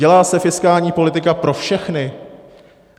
Dělá se fiskální politika pro všechny?